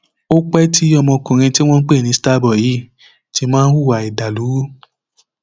ó pẹ tí ọmọkùnrin tí wọn ń pè ní starboy yìí ti máa ń hùwà ìdàlúrú